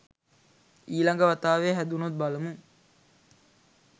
ඊ ළඟ වතාවේ හැදුනොත් බලමු.